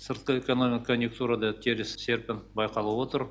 сыртқы экономиккандиктурада теріс серпін байқалып отыр